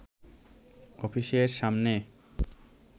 অফিসের সামনে